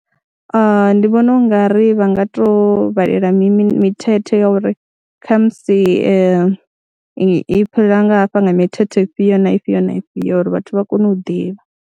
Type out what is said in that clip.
Ndi vhona u nga ri vha nga tou vhalela mithethe ya uri kha musi i fhira nga hafha nga mithethe ifhio na ifhio na ifhio uri vhathu vha kone u ḓivha.